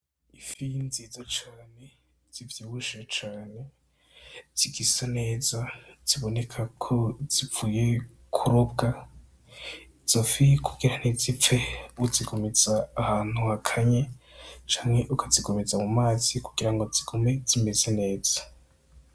Ifi nziza cane, zivyibushe cane zigisa neza, ziboneka ko zivuye kurobwa. Izo fi kugira ntizipfe uzigumiza ahantu hakanye canke ukazigumiza mu mazi kugira ngo zigume zimeze neza.